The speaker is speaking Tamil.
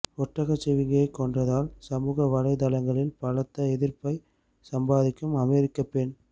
ஒட்டகச்சிவிங்கியை கொன்றதால் சமூக வலைத்தளங்களில் பலத்த எதிர்ப்பை சம்பாதிக்கும் அமெரிக்க பெண்